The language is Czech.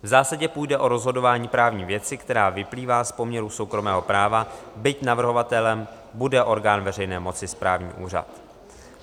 V zásadě půjde o rozhodování právní věci, která vyplývá z poměru soukromého práva, byť navrhovatelem bude orgán veřejné moci - správní úřad.